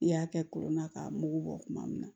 I y'a kɛ kolon na k'a mugu bɔ tuma min na